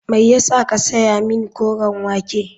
Me ya sa ka saya min koren wake.